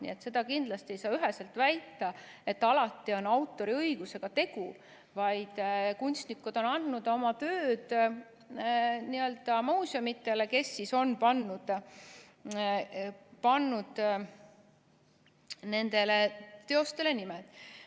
Nii et seda kindlasti ei saa üheselt väita, et alati on autoriõigusega tegu, vaid kunstnikud on andnud oma tööd n-ö muuseumidele, kes siis on pannud nendele teostele nimed.